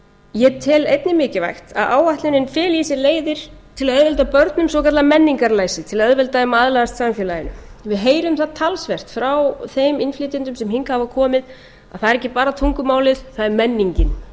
ég tel einnig mikilvægt að áætlanir feli í sér leiðir til að auðvelda börnum svokallað menningarlæsi til að auðvelda þeim að aðlagast samfélaginu við heyrum það talsvert frá þeim innflytjendum sem hingað hafa komið að það er ekki bara tungumálið það er menningin bara